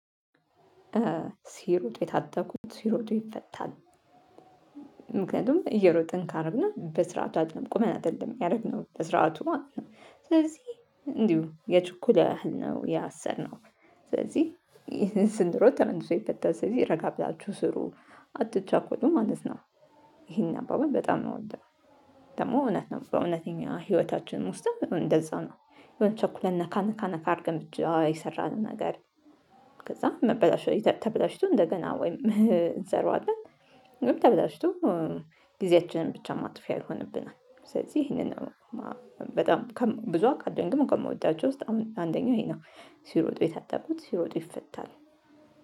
ሲሮጡ የታጠቁት ሲሮጡ ይፈታል። ምክንያቱም እየሮጥን ካርንና በስርዓቱ አይደለም ቁመን አይደለም ያረግነው በስርዓቱ ማለት ነው። ስለዚህ እንዲሁ የችኩል ያህል ነው ያሰርነው። ስለዚህ ይህን ስንሮጥ ተመልሶ የፈታው ስለዚህ ረጋ ብላችሁ ስሩ። አጥቻ ኮዱ ማለት ነው። ይሄን አባባል በጣም ነው የምወደው። ደግሞ እውነት ነው በእውነተኛ ህይወታችን ውስጥ እንደዛ ነው። የሆነ ቸኩለን ነካ ነካ ነካ አድርገን የሰራነው ነገር። ከዛ መበላሸት ተበላሽቶ እንደገና ወይም እንሰራዋለን። ግን ተበላሽቶ ጊዜያችንን ብቻ ማጥፊያ ይሆንብናል። ስለዚህ ይሄንን በጣም ብዙ አካድ ግን ደግሞ ከምወዳቸው ውስጥ አንደኛው እኔ ነው። ሲሮጡ የታጠቁት ሲሮጡ ይፈታል